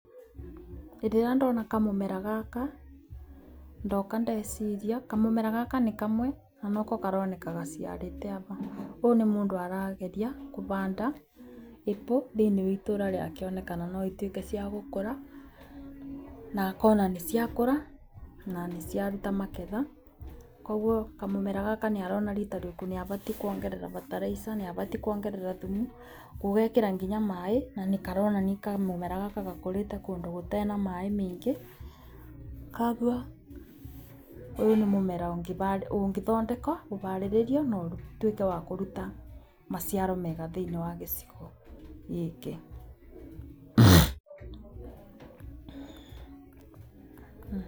Hĩndĩ ĩrĩa ndona kamũmera gaka ndoka ndeciria kamũra gaka nĩ kamwe nanoko karoneka gaciarĩte. Ũyũ nĩ mũndũ arageria kũbanda apple thĩiniĩ wa itũũra rĩake nĩgetha one kana nocituĩke ciagũkũra nanĩciaruta magetha. Koguo kamũmera nĩarona rita rĩngĩ nĩabatiĩ kuongerera bataraitha, nĩabatiĩ kwongerera nginya thumu, gũgekĩra nginya maĩ. Nanĩ karonania kamũmera gaka gakũrĩte kũndũ gũtarĩ na maĩ maingĩ. Koguo ũyũ nĩ mũmera ũngĩthondekwo, ũbarĩrĩrwo na ũtuĩke wakũruta maciaro mega thĩiniĩ wagĩcigo gĩkĩ.